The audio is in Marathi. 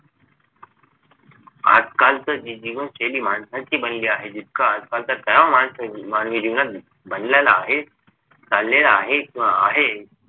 आजकालची जीवनशैली जी माणसाची बनली आहे जितका तणाव मानवी जीवनात बनलेला आहे ताणलेला आहे किंव्हा आहे